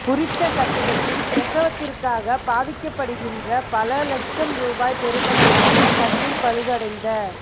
குறித்த கட்டிடத்தில் பிரசவத்திற்காக பாவிக்கப்படுகின்ற பல இலட்சம் ரூபாய் பெறுமதியான கட்டில் பழுதடைந்த